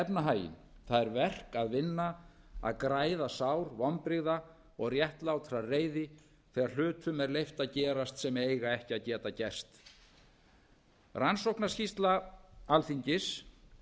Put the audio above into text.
efnahaginn það er verk að vinna að græða sár vonbrigða og réttlátrar reiði þegar hlutum er leyft að gerast sem eiga ekki að geta gerst rannsóknarskýrsla alþingis